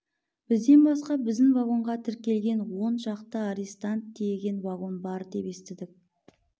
бізден басқа біздің вагонға тіркеген он шақты арестант тиеген вагон бар деп естідік